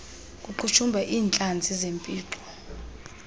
kuqhushumba iintlantsi zempixo